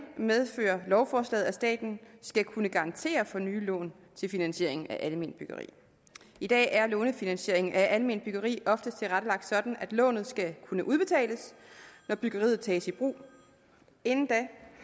medfører lovforslaget at staten skal kunne garantere for nye lån til finansieringen af alment byggeri i dag er lånefinansieringen af alment byggeri oftest tilrettelagt sådan at lånet skal kunne udbetales når byggeriet tages i brug inden da